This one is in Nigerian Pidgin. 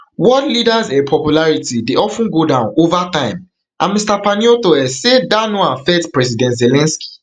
world leaders um popularity dey of ten go down ova time and mr paniotto um say dat no affect president zelensky